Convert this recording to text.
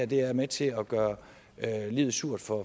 det her er med til at gøre livet surt for